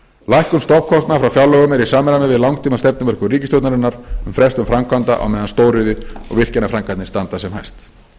lækkun stofnkostnaðar frá fjárlögum er í samræmi við langtímastefnumörkun ríkisstjórnarinnar um frestun framkvæmda á meðan stóriðju og virkjanaframkvæmdir standa sem hæst